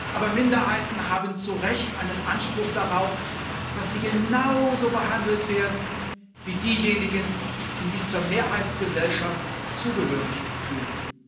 Aber Minderheiten haben zu Recht einen Anspruch darauf, dass sie genauso behandelt werden wie diejenigen, die sich zur Mehrheitsgesellschaft zugehörig fühlen.